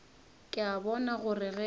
ke a bona gore ge